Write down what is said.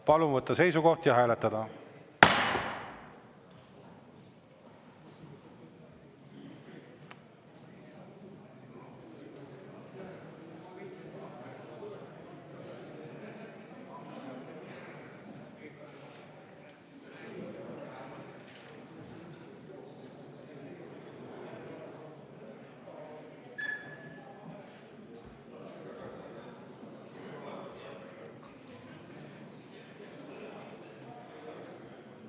Palun võtta seisukoht ja hääletada!